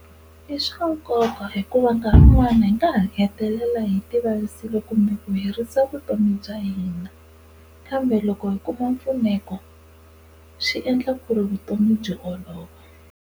I swa nkoka hikuva nkarhi wun'wani hi nga ha hetelela hi tivavisile kumbe ku herisa vutomi bya hina kambe loko hi kuma mpfuneko swi endla ku ri vutomi byi olova.